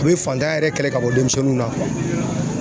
A bɛ fantanya yɛrɛ kɛlɛ ka bɔ denmisɛnninw na